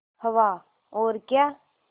हवा और क्या